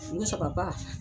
Ni